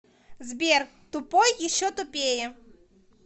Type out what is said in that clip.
сбер тупой еще тупее